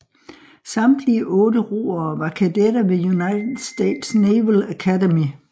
Samtlige otte roere var kadetter ved United States Naval Academy